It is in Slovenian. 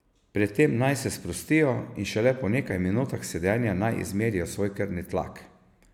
Pred tem naj se sprostijo in šele po nekaj minutah sedenja naj izmerijo svoj krvni tlak.